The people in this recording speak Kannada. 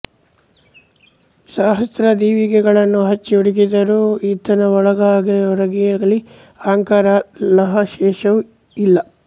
ಸಹಸ್ರ ದೀವಿಗೆಗಳನ್ನು ಹಚ್ಚಿ ಹುಡುಕಿದರೂ ಈತನ ಒಳಗಾಗಲೀಹೊರಗಾಗಲೀ ಅಹಂಕಾರದ ಲವಲೇಶವೂ ಇಲ್ಲ